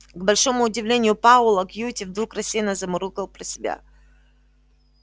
к большому удивлению пауэлла кьюти вдруг рассеянно замурлыкал про себя